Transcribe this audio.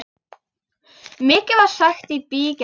Mikið var sagt í bígerð.